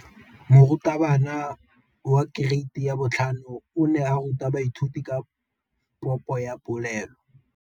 Moratabana wa kereiti ya 5 o ne a ruta baithuti ka popô ya polelô.